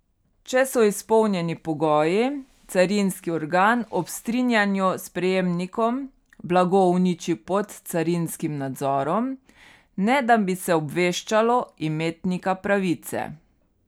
Če so izpolnjeni pogoji, carinski organ ob strinjanju s prejemnikom blago uniči pod carinskim nadzorom, ne da bi se obveščalo imetnika pravice.